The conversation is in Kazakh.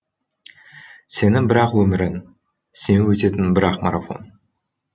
сенің бір ақ өмірің сен өтетін бір ақ марафон